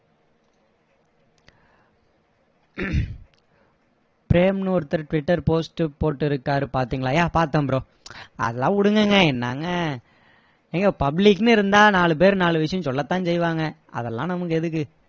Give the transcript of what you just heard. பிரேம்னு ஒருத்தர் twitter post போட்டிருக்காரு பாத்திங்களா yeah பாத்தேன் அதெல்லாம் விடுங்கங்க என்னங்க ஏங்க public ன்னு இருந்தா நாலு பேரு நாலு விஷயம் சொல்லதான் செய்வாங்க அதெல்லாம் நமக்கு எதுக்கு